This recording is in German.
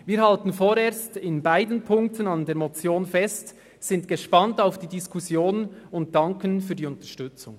Wir halten vorerst in beiden Punkten an der Motion fest, sind gespannt auf die Diskussion und danken für die Unterstützung.